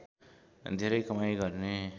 धेरै कमाइ गर्ने